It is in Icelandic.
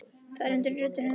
Það var undrun í rödd hennar.